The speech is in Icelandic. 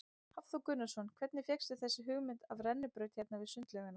Hafþór Gunnarsson: Hvernig fékkstu þessa hugmynd af rennibraut hérna við sundlaugina?